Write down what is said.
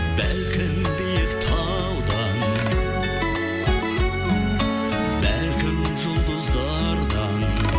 бәлкім биік талдан бәлкім жұлдыздардан